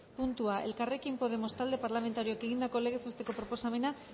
puntua elkarrekin podemos talde parlamentarioak egindako legez besteko proposamena